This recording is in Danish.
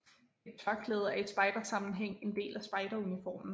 Et tørklæde er i spejdersammenhæng en del af spejderuniformen